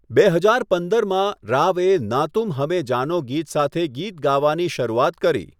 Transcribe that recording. બે હજાર પંદરમાં, રાવે 'ના તુમ હમેં જાનો' ગીત સાથે ગીત ગાવાની શરૂઆત કરી.